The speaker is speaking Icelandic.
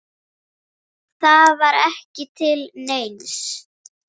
Það var ekki til neins.